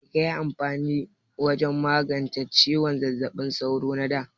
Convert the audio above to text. Mai kaƴi amfani da wajen magance ciwon zazzabin sauro na ɗa?